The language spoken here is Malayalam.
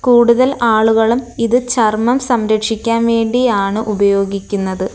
കൂടുതൽ ആളുകളും ഇത് ചർമ്മം സംരക്ഷിക്കാൻ വേണ്ടിയാണ് ഉപയോഗിക്കുന്നത്.